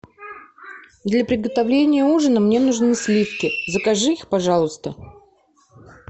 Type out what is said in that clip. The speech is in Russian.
для приготовления ужина мне нужны сливки закажи их пожалуйста